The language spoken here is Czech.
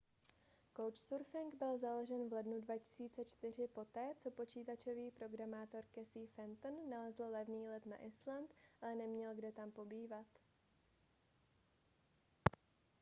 couchsurfing byl založen v lednu 2004 poté co počítačový programátor casey fenton nalezl levný let na island ale neměl kde tam pobývat